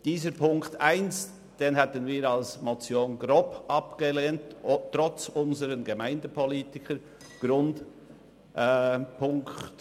Diesen Punkt 1 hätten wir als Motion trotz unserer Gemeindepolitiker grob abgelehnt.